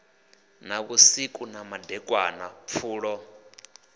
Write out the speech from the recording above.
na vhusiku na kandekanya pfulo